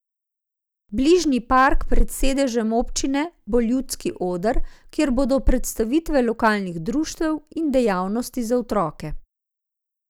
Bližnji park pred sedežem občine bo Ljudski oder, kjer bodo predstavitve lokalnih društev in dejavnosti za otroke.